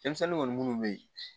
Denmisɛnnin kɔni minnu bɛ yen